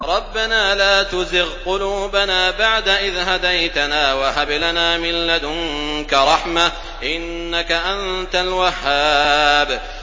رَبَّنَا لَا تُزِغْ قُلُوبَنَا بَعْدَ إِذْ هَدَيْتَنَا وَهَبْ لَنَا مِن لَّدُنكَ رَحْمَةً ۚ إِنَّكَ أَنتَ الْوَهَّابُ